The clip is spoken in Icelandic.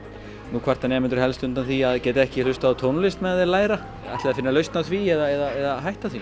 nú kvarta nemendur helst undan því að geta ekki hlustað á tónlist á meðan þeir læra ætlið þið að finna lausn á því eða hætta því